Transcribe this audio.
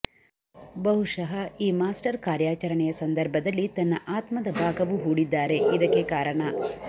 ಬಹುಶಃ ಈ ಮಾಸ್ಟರ್ ಕಾರ್ಯಾಚರಣೆಯ ಸಂದರ್ಭದಲ್ಲಿ ತನ್ನ ಆತ್ಮದ ಭಾಗವು ಹೂಡಿದ್ದಾರೆ ಇದಕ್ಕೆ ಕಾರಣ